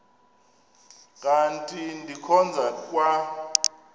kanti ndikhonza kwa